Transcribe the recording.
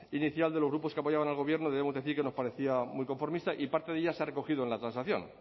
inicial de los grupos que apoyaban al gobierno debemos decir que nos parecía muy conformista y parte de ella se ha recogido en la transacción